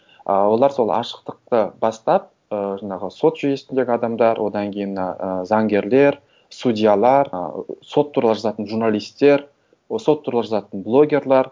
ы олар сол ашықтықты бастап ы жаңағы сот жүйесіндегі адамдар одан кейін мына ыыы заңгерлер судьялар ы сот туралы жазатын журналистер сот туралы жазатын блогерлар